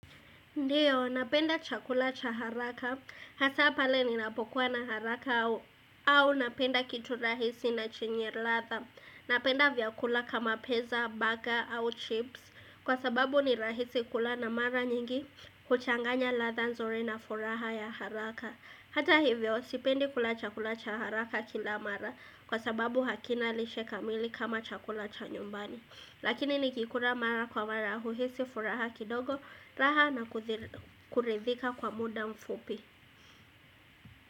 Ndiyo, napenda chakula cha haraka, hasa pale ninapokuwa na haraka au napenda kitu rahisi na chenye latha, napenda vyakula kama piza, burger au chips, kwa sababu ni rahisi kula na mara nyingi kuchanganya latha nzuri na furaha ya haraka. Hata hivyo sipendi kula chakula cha haraka kila mara kwa sababu hakina lishe kamili kama chakula cha nyumbani. Lakini nikikula mara kwa mara huhisi furaha kidogo raha na kuridhika kwa muda mfupi.